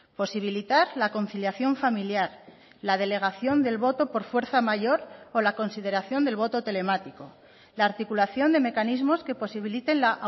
posibilitar la conciliación familiar la delegación del voto por fuerza mayor o la consideración del voto telemático la articulación de mecanismos que posibiliten la